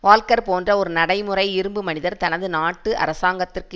walker போன்ற ஒரு நடைமுறை இரும்பு மனிதர் தனது நாட்டு அரசாங்கத்திற்கு